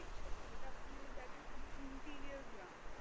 দেখছে মানে যেটা আপনি ওই দেখেন খুবই interior গ্রাম।